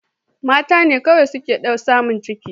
Mata ne kawai suke samun ciki